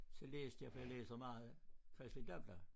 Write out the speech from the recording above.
Så læste jeg for jeg læser meget Kristeligt Dagblad